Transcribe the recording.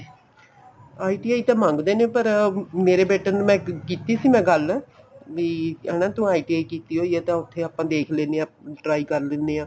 ITI ਤਾਂ ਮੰਗਦੇ ਨੇ ਪਰ ਮੇਰੇ ਬੇਟੇ ਨੂੰ ਮੈਂ ਕੀਤੀ ਸੀ ਨਾ ਗੱਲ ਬੀ ਹਨਾ ਤੂੰ ITI ਕੀਤੀ ਹੋਈ ਏ ਤਾਂ ਉੱਥੇ ਆਪਾਂ ਦੇਖ ਲੇਨੇ ਆ try ਕਰ ਲੇਨੇ ਆ